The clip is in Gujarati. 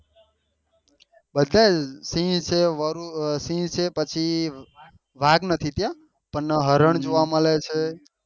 બધા સિહ છે વરુ સિહ છે વાઘ નથી ત્યાં પણ હરણ જોવા મળે છે